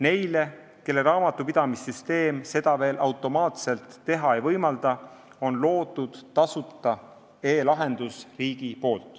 Neile, kelle raamatupidamissüsteem seda veel automaatselt teha ei võimalda, on riik loonud tasuta e-lahenduse.